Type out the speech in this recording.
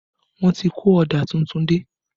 Wọ́n ti kó ọ̀dà tuntun dé